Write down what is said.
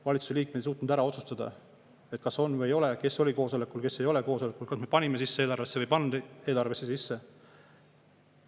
Valitsuse liikmed ei suutnud ära otsustada, kas on või ei ole, kes oli koosolekul, kes ei olnud koosolekul, kas me panime eelarvesse sisse või ei pannud eelarvesse sisse.